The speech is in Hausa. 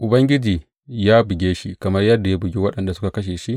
Ubangiji ya buge shi kamar yadda ya bugi waɗanda suka buge shi?